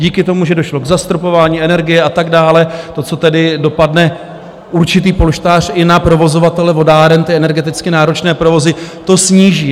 Díky tomu, že došlo k zastropování energie a tak dále, to, co tedy dopadne, určitý polštář, i na provozovatele vodáren, ty energeticky náročné provozy to sníží.